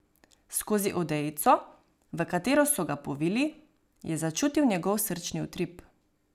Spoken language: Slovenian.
Skozi odejico, v katero so ga povili, je začutil njegov srčni utrip.